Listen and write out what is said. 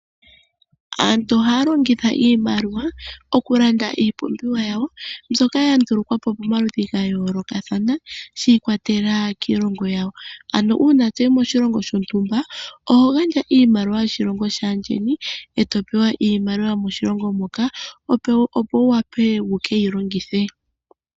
Aantu ohaya longitha iimaliwa okulanda iipumbiwa yawo mbyoka ya ndulukwapo pomaludhi ga yoolokathana shi ikwatelela kiilongo yawo ano uuna toyi koshilongo shontumba oho gandja iimaliwa yokoshilongo shaandjeni eto pewa iimaliwa yomoshilongo moka opo wu wape wuyi longithe.